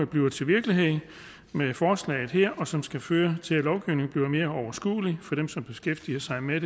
bliver til virkelighed med forslaget her og som skal føre til at lovgivningen bliver mere overskuelig for dem som beskæftiger sig med